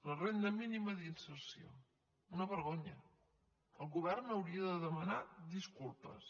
la renda mínima d’inserció una vergonya el govern hauria de demanar disculpes